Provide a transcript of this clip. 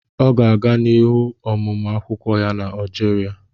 Ọ ga-aga n'ihu ọmụmụ akwukwo ya na Algeria